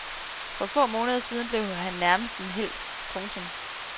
For få måneder siden blev han nærmest en helt. punktum